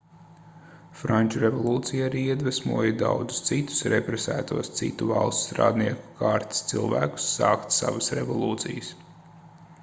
franču revolūcija arī iedvesmoja daudzus citus represētos citu valstu strādnieku kārtas cilvēkus sākt savas revolūcijas